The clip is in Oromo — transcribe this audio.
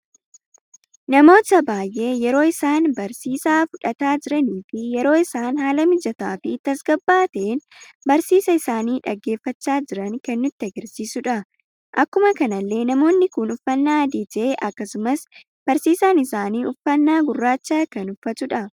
Namoota baay'ee yeroo isaan barsiisa fudhata jiraanii fi yeroo isaan haala mijataa fi tasgabba'aa ta'een barsiisa isaani dhaggeeffacha jiran kan nutti agarsiisuudha. Akkuma kanallee namoonni kun uffanna adii ta'e, akkasumas barsiisan isaanii uffata gurraacha kan uffatudha.